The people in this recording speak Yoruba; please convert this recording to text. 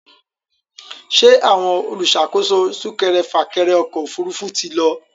Ṣé àwọn olùṣàkóso súkẹrẹfà-kẹrẹ ọkọ̀ òfurufú ti lọ?